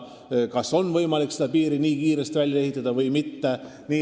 Sellest sõltub, kas on võimalik nii kiiresti piiri välja ehitada või mitte.